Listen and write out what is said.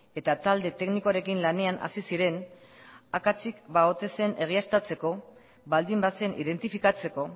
eta talde teknikoarekin lanean hasi ziren akatsik ba ote zen egiaztatzeko baldin bazen identifikatzeko